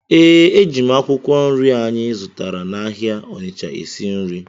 Ee, eji m akwụkwọ nri anyị zụtara n’ahịa Onitsha esi nri.